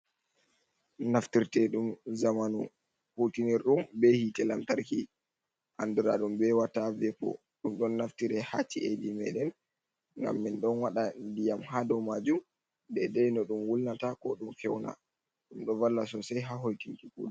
Naftirte ɗum zamanu hutinir ɗum be hitee lamtarki andura ɗum be wata vepo, ɗum ɗon naftire ha ci’ad meɗen gam min ɗon waɗa ndiyam ha dou majum dedai no ɗum wulnata ko ɗum fewna ɗum ɗo valla sosai ha hoikinki kuɗe.